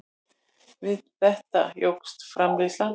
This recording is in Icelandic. Við þetta jókst framleiðslan.